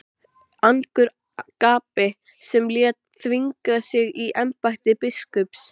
Angurgapi sem lét þvinga sig í embætti biskups.